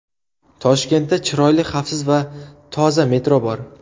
Toshkentda chiroyli, xavfsiz va toza metro bor.